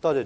代理